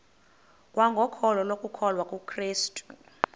kwangokholo lokukholwa kukrestu